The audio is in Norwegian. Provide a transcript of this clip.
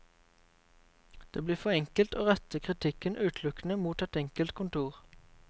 Det blir for enkelt å rette kritikken utelukkende mot et enkelt kontor.